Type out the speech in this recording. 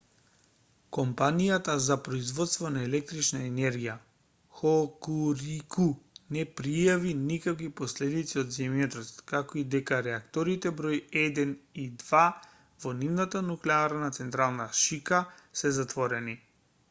компанијата за производство на електрична енергија хокурику не пријави никакви последици од земјотресот како и дека реакторите број 1 и 2 во нивната нуклеарна централа шика се затворени